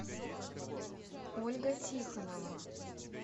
ольга тихонова